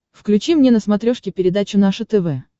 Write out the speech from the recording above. включи мне на смотрешке передачу наше тв